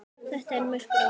Þetta var merkur áfangi.